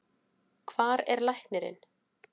Hvar er læknirinn?